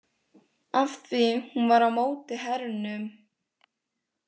Af því hún var á móti hernum?